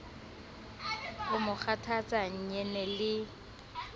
o mo kgathatsa nyene le